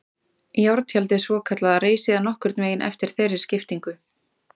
Járntjaldið svokallaða reis síðan nokkurn veginn eftir þeirri skiptingu.